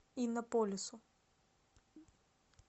иннополису